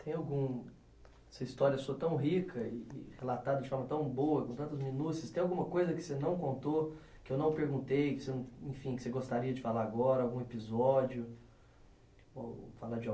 Tem algum... essa história sua tão rica e e relatada de forma tão boa, com tantos minúcios, tem alguma coisa que você não contou, que eu não perguntei, que você, enfim, que você gostaria de falar agora, algum episódio, ou falar de